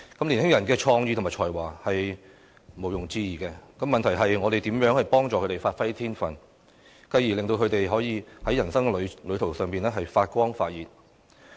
年輕人的創意和才華是毋庸置疑的，問題是，我們怎樣協助他們發揮天分，繼而令他們可以在人生旅途上發光發熱？